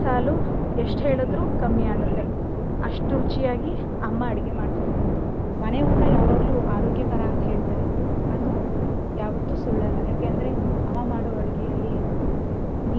ಎಷ್ಟ್ ಹೇಳಿದ್ರು ಕಮ್ಮಿ ಆಗುತ್ತೆ ಅಷ್ಟು ರುಚಿ ಆಗಿ ಅಮ್ಮ ಅಡ್ಗೆ ಮಾಡ್ಕೊಡ್ತಾಳೆ. ಮನೆ ಊಟ ಯಾವಾಗ್ಲೂ ಆರೋಗ್ಯಕರ ಅಂತ ಹೇಳ್ತಾರೆ ಅದು ಯಾವತ್ತೂ ಸುಳ್ಳಲ್ಲ ಯಾಕೆ ಅಂದ್ರೆ ಅಮ್ಮ ಮಾಡೋ ಅಡ್ಗೆಯಲ್ಲಿ neat ಆಗಿ,